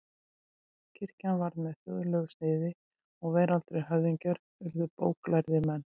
Kirkjan varð með þjóðlegu sniði og veraldlegir höfðingjar urðu bóklærðir menn.